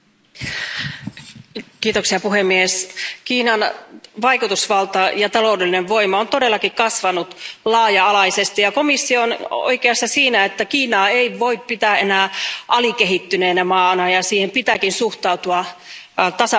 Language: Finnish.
Arvoisa puhemies, Kiinan vaikutusvalta ja taloudellinen voima ovat todellakin kasvaneet laaja alaisesti, ja komissio on oikeassa siinä, että Kiinaa ei voi pitää enää alikehittyneenä maana ja siihen pitääkin suhtautua tasavertaisena toimijana.